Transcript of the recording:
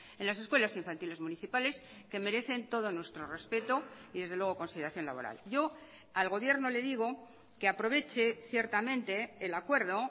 en las escuelas infantiles municipales que merecen todo nuestro respeto y desde luego consideración laboral yo al gobierno le digo que aproveche ciertamente el acuerdo